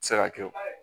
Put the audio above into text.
Se ka kɛ